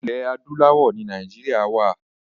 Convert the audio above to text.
Ilẹ̀ adúláwọ̀ ni Nàìjíríà wa.